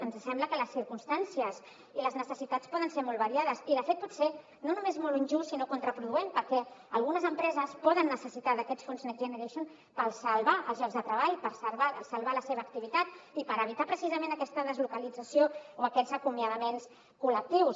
ens sembla que les circumstàncies i les necessitats poden ser molt variades i de fet pot ser no només molt injust sinó contraproduent perquè algunes empreses poden necessitar aquests fons next generation per salvar els llocs de treball per salvar la seva activitat i per evitar precisament aquesta deslocalització o aquests acomiadaments col·lectius